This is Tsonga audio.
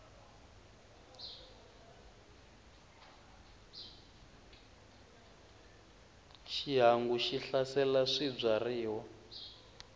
xihangu xi hlasela swibyariwa